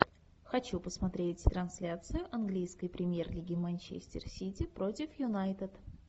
хочу посмотреть трансляцию английской премьер лиги манчестер сити против юнайтед